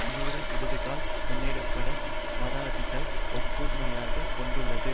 தீவிர இடதுகளால் முன்னெடுக்க பட்ட வாதத்தைத்தான் ஒப்புமையாகக் கொண்டுள்ளது